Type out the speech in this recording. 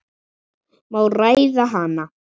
Má ræða hana?